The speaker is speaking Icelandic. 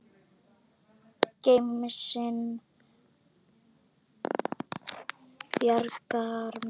Gemsinn bjargar mér.